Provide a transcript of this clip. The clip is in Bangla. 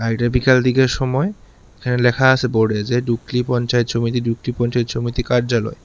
একটা বিকেল দিকের সময় এখানে লেখা আছে বোর্ডে যে ডুকলি পঞ্চায়েত সমিতি ডুকলি পঞ্চায়েত সমিতি কার্যালয়।